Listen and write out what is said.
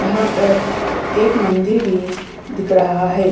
यहाँ पर एक मंदिर भी दिख रहा है।